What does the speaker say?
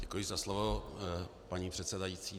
Děkuji za slovo, paní předsedající.